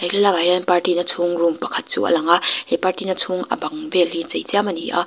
he thlalak ah hian party na chhung room pakhat chu a lang a he party na chung a bang vel hi chei chiam a ni a.